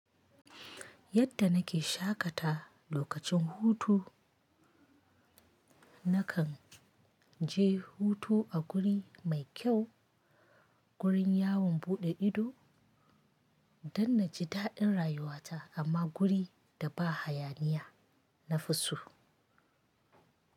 Yadda nake shaƙata lokacin hutu, na kan je hutu a guri mai kyau, gurin yawon buɗe ido don na ji daɗin rayuwata amma guri da ba hayaniya na fi so.